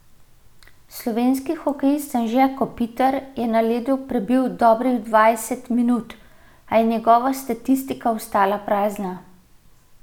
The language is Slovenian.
Slovenski hokejist Anže Kopitar je na ledu prebil dobrih dvajset minut, a je njegova statistika ostala prazna.